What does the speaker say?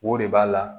O de b'a la